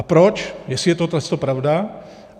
A proč, jestli je toto pravda.